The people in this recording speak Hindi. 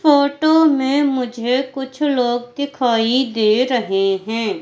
फोटो में मुझे कुछ लोग दिखाई दे रहे हैं।